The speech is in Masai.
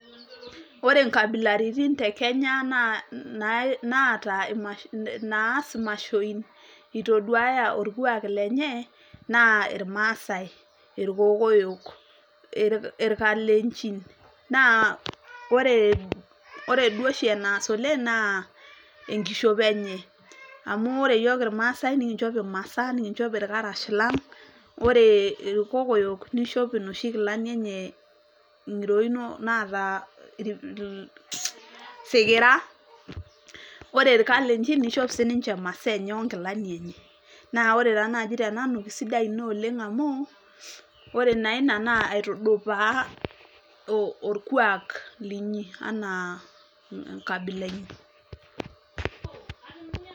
Ore nkabilaritin te Kenya naata naas imashoi, itoduaya orkuak lenye, naa irmaasai. Irkokoyok, irkalenchin. Naa ore duo oshi enaas oleng',naa enkishopo enye. Amu ore yiok irmaasai, nikinchop imasaa, nikinchop irkarash lang'. Ore irkokoyo nishop inoshi kilani enye ng'iroin naata isikira. Ore irkalenchin, nishop sininche imasaa enye onkilani enye. Na ore taa naaji tenanu, kesidai ina oleng' amu, ore naa ina na aitudupaa orkuak linyi, anaa enkabila inyi.